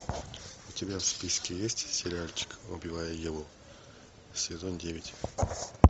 у тебя в списке есть сериальчик убивая еву сезон девять